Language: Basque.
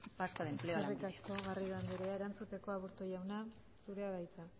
vasco de empleo lanbide eskerrik asko garrido anderea erantzuteko aburto jauna zurea da hitza